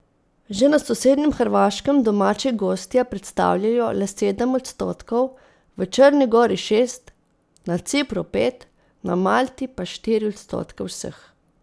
Že na sosednjem Hrvaškem domači gostje predstavljajo le sedem odstotkov, v Črni gori šest, na Cipru pet, na Malti pa štiri odstotke vseh.